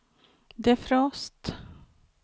defrost